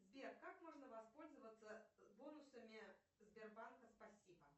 сбер как можно воспользоваться бонусами сбербанка спасибо